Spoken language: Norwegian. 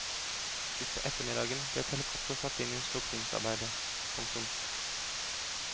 Utpå ettermiddagen ble et helikopter satt inn i slukningsarbeidet. punktum